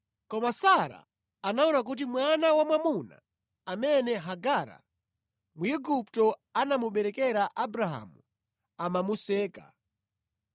Koma Sara anaona kuti mwana wamwamuna amene Hagara Mwigupto anamuberekera Abrahamu amamuseka,